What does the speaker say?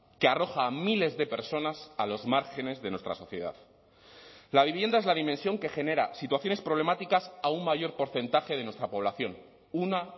que arroja a miles de personas a los márgenes de nuestra sociedad la vivienda es la dimensión que genera situaciones problemáticas a un mayor porcentaje de nuestra población una